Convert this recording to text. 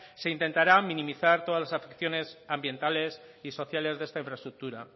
se intentará minimizar todas las afecciones ambientales y sociales de esta infraestructura